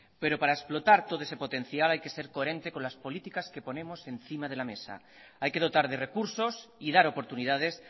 pero para explotar todo ese potencial hay que ser coherente con las políticas que ponemos encima de la mesa hay que dotar de recursos y dar oportunidades